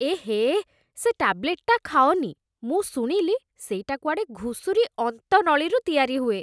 ଏହେ, ସେ ଟ୍ୟାବ୍ଲେଟ୍‌ଟା ଖାଅନି । ମୁଁ ଶୁଣିଲି ସେଇଟା କୁଆଡ଼େ ଘୁଷୁରି ଅନ୍ତନଳୀରୁ ତିଆରି ହୁଏ ।